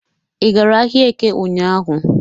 Ị gara ahịa Eke ụnyahụ?